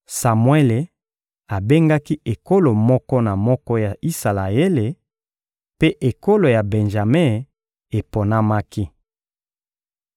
Samuele abengaki ekolo moko na moko ya Isalaele, mpe ekolo ya Benjame eponamaki.